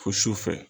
Fo su fɛ